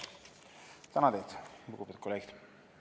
Tänan teid, lugupeetud kolleegid!